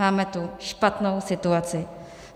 Máme tu špatnou situaci.